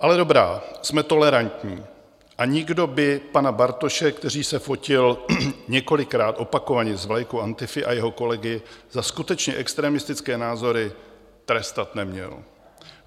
Ale dobrá, jsme tolerantní a nikdo by pana Bartoše, který se fotil několikrát opakovaně s vlajkou Antify, a jeho kolegy za skutečně extremistické názory trestat neměl.